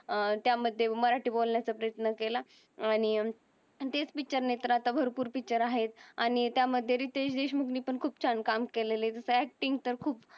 त्या मध्ये मराठी बोलण्यास प्रयत्न केला. आणि तेच पिक्चर नाही तर अत्ता भरपूर पिक्चर आहेत. आणि त्या मधे रितेश देशमुख ने पण खूप छान काम केलेले तिझ अक्टिंग तर खूप